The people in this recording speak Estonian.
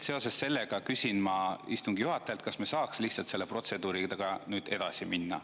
Seoses sellega küsin ma istungi juhatajalt, kas me saaks lihtsalt selle protseduuriga nüüd edasi minna.